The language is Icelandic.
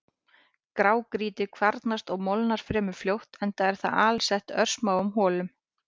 Grágrýti kvarnast og molnar fremur fljótt enda er það alsett örsmáum holum.